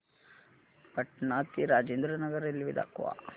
पटणा ते राजेंद्र नगर रेल्वे दाखवा